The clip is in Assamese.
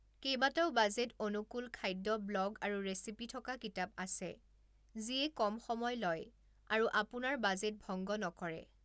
কেইবাটাও বাজেট অনুকূল খাদ্য ব্লগ আৰু ৰেচিপি থকা কিতাপ আছে যিয়ে কম সময় লয় আৰু আপোনাৰ বাজেট ভংগ নকৰে।